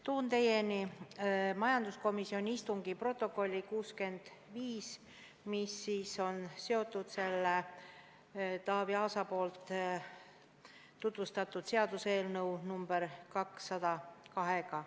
Toon teieni majanduskomisjoni istungi protokolli nr 65, mis on seotud Taavi Aasa tutvustatud seaduseelnõuga nr 202.